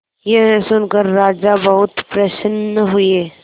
यह सुनकर राजा बहुत प्रसन्न हुए